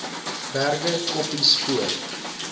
berge koppies voor